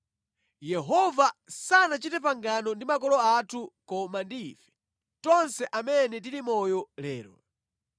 Yehova sanachite pangano ndi makolo athu koma ndi ife, tonse amene tili moyo lero.